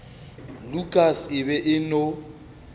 lukas e be e no